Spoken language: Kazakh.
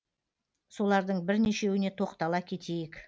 солардың бірнешеуіне тоқтала кетейік